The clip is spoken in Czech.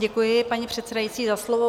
Děkuji, paní přesedající, za slovo.